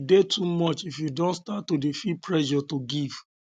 e de too much if you don start to de feel pressure to give